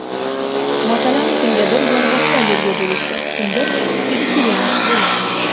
Masalan, kimdadir yong‘oqqa allergiya bo‘lishi, kimdir vegetarian bo‘lishi mumkin.